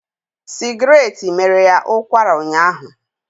Sigratte mere ya ụkwara ụnyaahụ